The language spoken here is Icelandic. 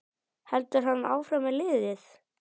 Heldur hann áfram með liðið?